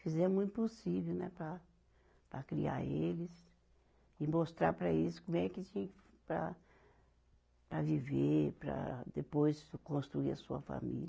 Fizemos o impossível, né, para, para criar eles e mostrar para eles como é que se para, para viver, para depois construir a sua família.